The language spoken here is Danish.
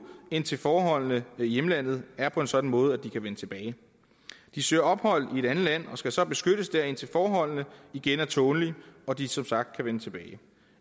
indtil forholdene i hjemlandet er på en sådan måde at de kan vende tilbage de søger ophold i et andet land og skal så beskyttes der indtil forholdene igen er tålelige og de som sagt kan vende tilbage